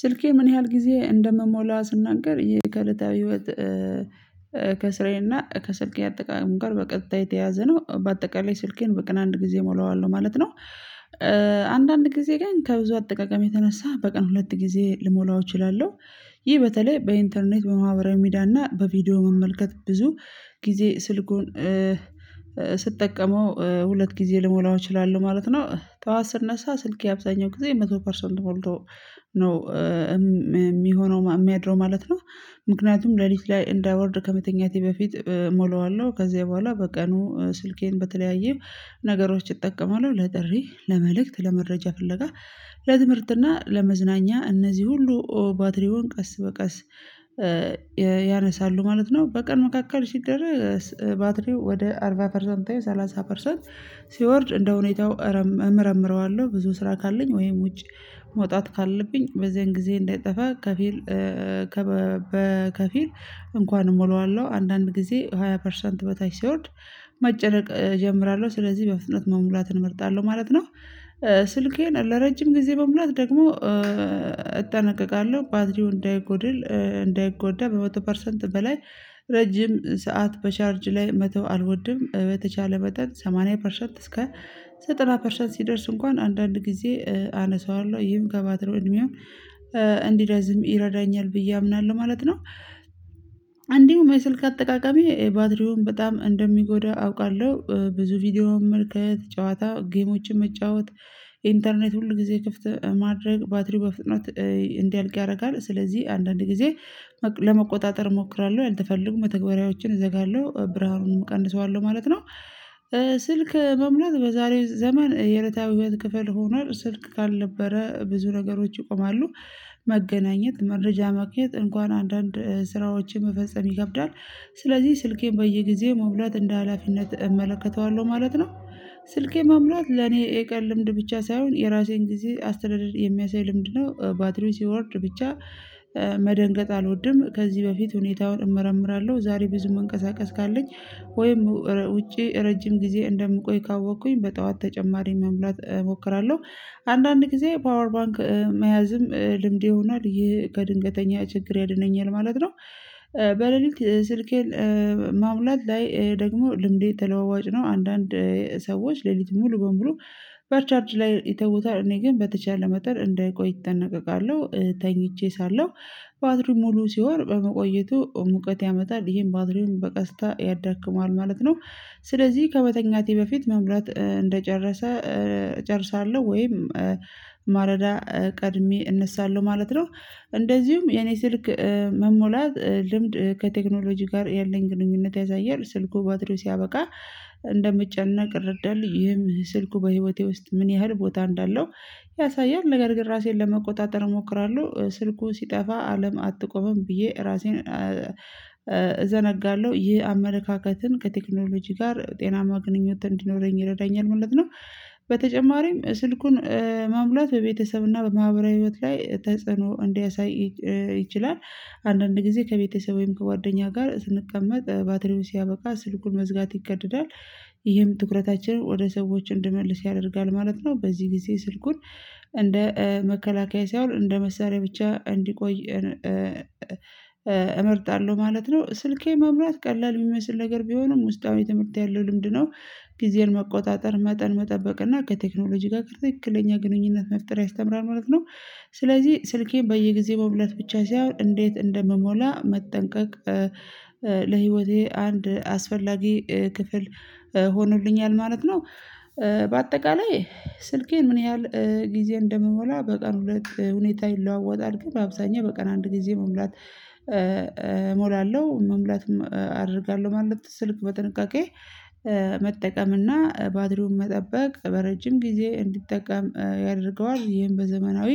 ስልኬ ምን ያህል ጊዜ እንደምሞላ ስናገር ይሄ ከለታዊ ህይወት። ከስራዬና ከስልኬ አጠቃላይ ጋር በቀጥታ የተያዘ ነው በአጠቃላይ ስልኬን በቀን አንድ ጊዜ እሞላዋለሁ ማለት ነው። አንዳንድ ጊዜ ግን ከብዙ አጠቃቀም የተነሳ በቀን ሁለት ጊዜ ልሞላው እችላለሁ። ይህ በተለይ በኢንተርኔት በማህበራዊ ሚዲያ እና በቪዲዮ መመልከት ብዙ ጊዜ ስልኩን ስጠቀመው ሁለት ጊዜ ልሞላው እችላለሁ ማለት ነው። ጠዋት ስነሳ ስልኬ አብዛኛው ጊዜ መቶ ፐርሰንት ሞልቶ ነው የሚሆነው የሚያድረው ማለት ነው። ምክንያቱም ሌሊት ላይ እንዳይወርድ ከመተኛቴ በፊት ሞላዋለሁ ከዚያ በኋላ በቀኑ ስልኬን በተለያየ ነገሮች እጠቀማለሁ ለጥሪ ለመልእክት ለመረጃ ፍለጋ ለትምህርትና ለመዝናኛ እነዚህ ሁሉ ባትሪውን ቀስ በቀስ ያነሳሉ ማለት ነው። በቀን መካከል ሲደረግ ባትሪው ወደ አርባ ፐርሰንት ወይም ሰላሳ ፐርሰንት ሲወርድ እንደሁኔታው እመረምረዋለሁ ብዙ ስራ ካለኝ ወይም ውጭ መውጣት ካለብኝ በዚህን ጊዜ እንዳይጠፋ ከፊል ከፊል እንኳን እሞላዋለሁ። አንዳንድ ጊዜ ሃያ ፐርሰንት በታች ሲወርድ መጨነቅ እጀምራለሁ ስለዚህ በፍጥነት መሙላትን እመርጣለሁ ማለት ነው። ስልኬን ለረጅም ጊዜ መሙላት ደግሞ እጠነቀቃለሁ ባትሪው እንዳይጎድል እንዳይጎዳ በመቶ ፐርሰንት በላይ ረጅም ሰዓት በቻርጅ ላይ መተው አልወድም በተቻለ መጠን ሰማኒያ ፐርሰንት እስከ ዘጠና ፐርሰንት ሲደርስ እንኳን አንዳንድ ጊዜ አነሳዋለሁ ይህም ከባትሪው እድሜው እንዲረዝም ይረዳኛል ብዬ አምናለሁ ማለት ነው። አንዲሁ የስልክ አጠቃቀሜ ባትሪውን በጣም እንደሚጎዳ አውቃለሁ ብዙ ቪዲዮውን መመልከት ጨዋታ ጌሞችን መጫወት ኢንተርኔት ሁል ጊዜ ክፍት ማድረግ ባትሪው በፍጥነት እንዲያልቅ ያደርጋል። ስለዚህ አንዳንድ ጊዜ ለመቆጣጠር እሞክራለሁ ያልተፈለጉ መተግበሪያዎችን እዘጋለሁ ብርሃኑን እቀንሰዋለሁ ማለት ነው። ስልክ መምረጥ በዛሬ ዘመን የዕለታዊ ህይወት ክፍል ሆኗል ስልክ ካልነበረ ብዙ ነገሮች ይቆማሉ። መገናኘት መረጃ ማግኘት እንኳን አንዳንድ ስራዎችን መፈጸም ይከብዳል ስለዚህ ስልኬን በየጊዜው መሙላት እንደ ሀላፊነት እመለከተዋለሁ ማለት ነው። ስልኬ መሙላት ለኔ የቀን ልምድ ብቻ ሳይሆን የራሴን ጊዜ አስተዳደር የሚያሳይ ልምድ ነው። ባትሪው ሲወርድ ብቻ መደንገጥ አልወድም ከዚህ በፊት ሁኔታውን እመረምራለሁ ዛሬ ብዙ መንቀሳቀስ ካለኝ ወይም ውጪ ረጅም ጊዜ እንደምቆይ ካወቅኩኝ በጠዋት ተጨማሪ መሙላት እሞክራለሁ። አንዳንድ ጊዜ ፓወር ባንክ መያዝም ልምድ ይሆናል ይህ ከድንገተኛ ችግር ያድነኛል ማለት ነው። በሌሊት ስልኬን ማሙላት ላይ ደግሞ ልምዴ ተለዋዋጭ ነው አንዳንድ ሰዎች ሌሊት ሙሉ በሙሉ በቻርጅ ላይ ይተውታል እኔ ግን በተቻለ መጠን እንዳይቆይ እጠነቀቃለሁ። ተኝቼ ሳለሁ ባትሪ ሙሉ ሲሆን በመቆየቱ ሙቀት ያመጣል ይሄም ባትሪውን በቀስታ ያዳክመዋል ማለት ነው። ስለዚህ ከመተኛቴ በፊት መሙላት እንደጨረሰ እጨርሳለሁ ወይም ማለዳ ቀድሜ እነሳለሁ ማለት ነው። እንደዚሁም የኔ ስልክ መሞላት ልምድ ከቴክኖሎጂ ጋር ያለኝ ግንኙነት ያሳያል ስልኩ ባትሪው ሲያበቃ እንደምጨነቅ ይረዳል ይህም ስልኩ በህይወቴ ውስጥ ምን ያህል ቦታ እንዳለው ያሳያል። ነገር ግን ራሴን ለመቆጣጠር እሞክራለሁ ስልኩ ሲጠፋ አለም አትቆምም ብዬ ራሴን እዘነጋለሁ ይህ አመለካከትን ከቴክኖሎጂ ጋር ጤናማ ግንኙነት እንዲኖረኝ ይረዳኛል ማለት ነው። በተጨማሪም ስልኩን መሙላት በቤተሰብና በማህበራዊ ህይወት ላይ ተጽዕኖ እንዲያሳይ ይችላል። አንዳንድ ጊዜ ከቤተሰቤም ከጓደኛ ጋር ስንቀመጥ ባትሪውን ሲያበቃ ስልኩን መዝጋት ይገደዳል ይህም ትኩረታችንን ወደ ሰዎች እንድመልስ ያደርጋል ማለት ነው። በዚህ ጊዜ ስልኩን እንደ መከላከያ ሳይሆን እንደ መሳሪያ ብቻ እንዲቆይ እመርጣለሁ ማለት ነው። ስልኬ መምራት ቀላል የሚመስል ነገር ቢሆንም ውስጣዊ ትምህርት ያለው ልምድ ነው። ጊዜን መቆጣጠር መጠን መጠበቅ እና ከቴክኖሎጂ ጋር ትክክለኛ ግንኙነት መፍጠር ያስተምራል ማለት ነው። ስለዚህ ስልኬን በየጊዜው መሙላት ብቻ ሳይሆን እንዴት እንደምሞላ መጠንቀቅ ለህይወቴ አንድ አስፈላጊ ክፍል ሆኖልኛል ማለት ነው። በአጠቃላይ ስልኬን ምን ያህል ጊዜ እንደምሞላ በቀን ሁለት ሁኔታ ይለዋወጣል ግን በአብዛኛው በቀን አንድ ጊዜ መሙላት እሞላለሁ። መሙላትም አደርጋለሁ ማለት ስልክ በጥንቃቄ መጠቀም እና ባትሪውን መጠበቅ በረጅም ጊዜ እንዲጠቀም ያደርገዋል። ይሄን በዘመናዊ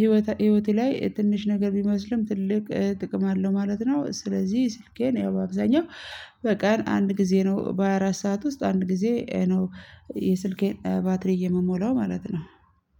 ህይወት ህይወቴ ላይ ትንሽ ነገር ቢመስልም ትልቅ ጥቅም አለው ማለት ነው። ስለዚህ ስልኬን ያው በአብዛኛው በቀን አንድ ጊዜ ነው በሃያ አራት ሰዓት ውስጥ አንድ ጊዜ ነው። የስልኬን ባትሪ የምሞላው ማለት ነው